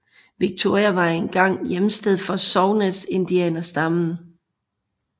Victoria var en gang hjemsted for Songhees indianerstammen